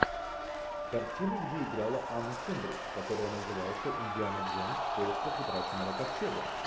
картина где играла анна кендрик которая называется индиана джонс в поисках утраченного ковчега